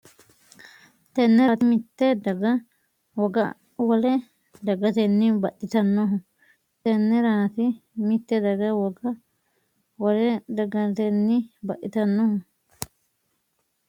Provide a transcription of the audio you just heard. Tenneraati mitte daga woga wole dagatenni baxxitannohu Tenneraati mitte daga woga wole dagatenni baxxitannohu Tenneraati mitte daga woga wole dagatenni.